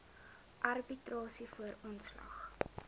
arbitrasie voor ontslag